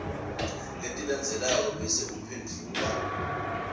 letilandzelako bese uphendvula